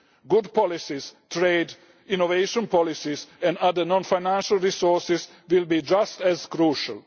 Good policies, trade, innovation policies and other non financial resources will be just as crucial.